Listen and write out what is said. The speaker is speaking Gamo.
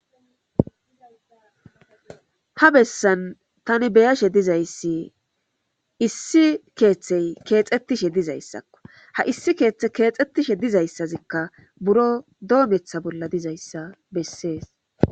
ha bessan tani beyashe dizayssi issi keeththey keexettishe dizayssakko ha issi keeththe keexxettishe dizayssazikka buro doometha bolla dizayssa bessees